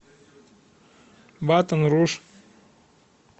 батон руж